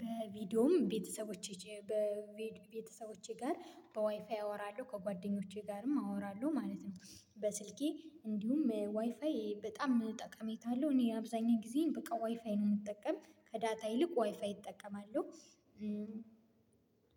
በቪዲዮም ቤተሰቦቼ በቤተሰቦቼ ጋር በዋይፋይ አወራለሁ ከጓደኞቼ ጋርም አወራለሁ ማለት ነው። በስልኬ እንዲሁም ዋይፋይ በጣም ጠቀሜታ አለሁ እኔ አብዛኛው ጊዜ በቃ ዋይፋይ ነው የምጠቀም ከዳታ ይልቅ ዋይፋይ እጠቀማለሁ።